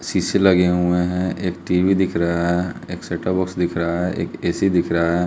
शीशे लगे हुए है एक टी_वी दिख रहा है एक सेटपबाक्स दिख रहा है एक ए_सी दिख रहा है।